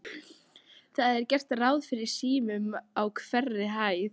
Það er gert ráð fyrir símum á hverri hæð.